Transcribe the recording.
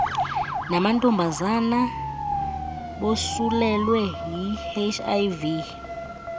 namantombazana bosulelwe yihiv